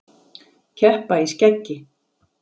Keppa í skeggi